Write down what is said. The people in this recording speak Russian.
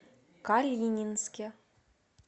калининске